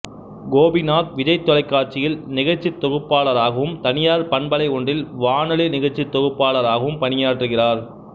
கோபிநாத் விஜய் தொலைக்காட்சியில் நிகழ்ச்சி தொகுப்பாளராகவும் தனியார் பண்பலை ஒன்றில் வானொலி நிகழ்ச்சி தொகுப்பாளராகவும் பணியாற்றுகிறார்